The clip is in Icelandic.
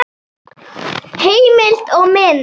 Heimild og mynd